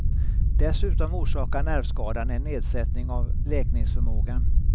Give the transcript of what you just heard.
Dessutom orsakar nervskadan en nedsättning av läkningsförmågan.